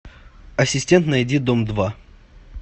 ассистент найди дом два